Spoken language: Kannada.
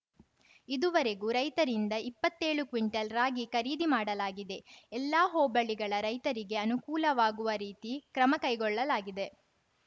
ಇದುವರೆಗೂ ರೈತರಿಂದ ಇಪ್ಪತ್ತೇಳು ಕ್ವಿಂಟಲ್‌ ರಾಗಿ ಖರೀದಿ ಮಾಡಲಾಗಿದೆ ಎಲ್ಲಾ ಹೋಬಳಿಗಳ ರೈತರಿಗೆ ಅನುಕೂಲವಾಗುವ ರೀತಿ ಕ್ರಮ ಕೈಗೊಳ್ಳಲಾಗಿದೆ